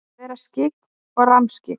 Að vera skyggn og rammskyggn?